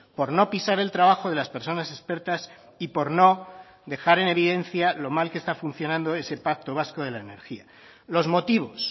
por no pisar el trabajo de las personas expertas y por no dejar en evidencia lo mal que está funcionando ese pacto vasco de la energía los motivos